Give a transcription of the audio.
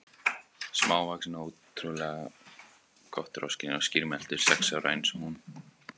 Smávaxin og ótrú- lega kotroskin og skýrmælt, sex ára eins og hún.